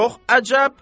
Çox əcəb.